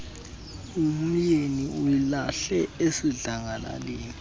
umyeni uyilahle esidlangalaleni